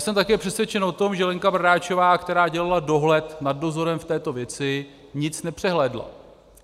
Jsem také přesvědčen o tom, že Lenka Bradáčová, která dělala dohled nad dozorem v této věci, nic nepřehlédla.